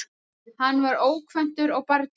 Hann var ókvæntur og barnlaus